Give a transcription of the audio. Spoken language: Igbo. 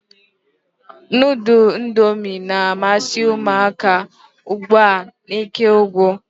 Nudul indomi na-amasi umuaka ugbua nke ukwu.